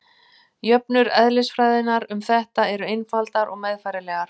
Jöfnur eðlisfræðinnar um þetta eru einfaldar og meðfærilegar.